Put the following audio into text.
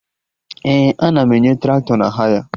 Ee, ana m enye Traktọ na haya